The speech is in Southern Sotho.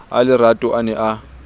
a lerato a ne a